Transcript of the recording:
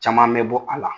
Caman bɛ bɔ a la